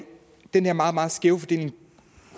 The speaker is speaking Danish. den her meget meget skæve fordeling